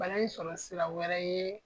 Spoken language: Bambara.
Bana in sɔrɔ sira wɛrɛ ye